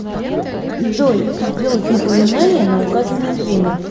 джой сделать напоминание на указанное время